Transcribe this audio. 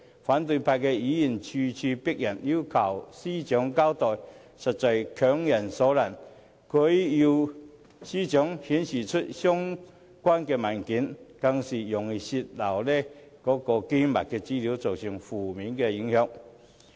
反對派議員咄咄逼人，要求司長交代，實在是強人所難，要她出示有關文件，更是容易泄漏機密資料，造成負面影響。